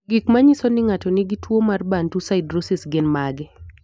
Gik manyiso ni ng'ato nigi tuwo mar Bantu siderosis gin mage?